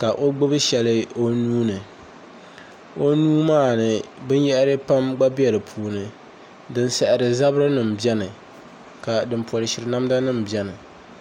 ka o gbubi shɛli o nuuni o nuu maa ni binyahari pam gba bɛ di puuni din saɣari zabiri nim biɛni ka din polishiri namda nim biɛni